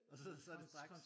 Og så det så det straks